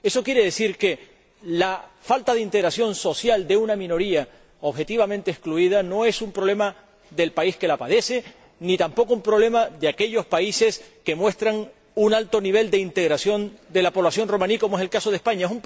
Esto quiere decir que la falta de integración social de una minoría, objetivamente excluida, no es un problema del país que la padece, ni tampoco un problema de aquellos países que muestran un alto nivel de integración de la población romaní, como es el caso de España.